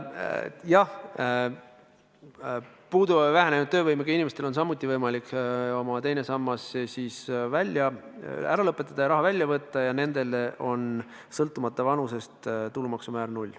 Jah, puuduva või vähenenud töövõimega inimestel on samuti võimalik oma teine sammas ära lõpetada ja raha välja võtta, ja nendele on sõltumata vanusest tulumaksu määr null.